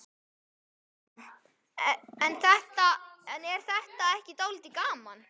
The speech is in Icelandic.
Kristján: En er þetta ekki dálítið gaman?